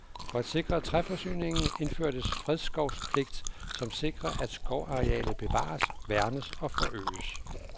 For at sikre træforsyningen, indførtes fredskovspligt, som sikrer, at skovarealet bevares, værnes og forøges.